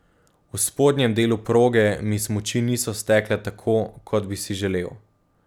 V spodnjem delu proge mi smuči niso stekle tako, kot bi si želel.